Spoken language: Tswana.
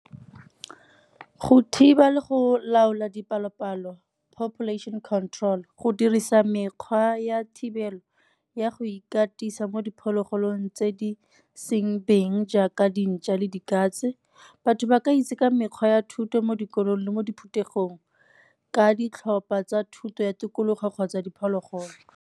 Go thiba le go laola dipalo-palo population control, go dirisa mekgwa ya thibelo ya go ikatisa mo diphologolong tse di seng beng jaaka dintšwa le dikatse. Batho ba ka itse ka mekgwa ya thuto mo dikolong le mo diphuthegong ka ditlhopha tsa thuto ya tikologo kgotsa diphologolo.